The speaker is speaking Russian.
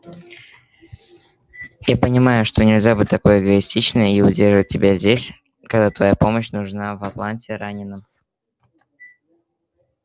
я понимаю что нельзя быть такой эгоистичной и удерживать тебя здесь когда твоя помощь нужна в атланте раненым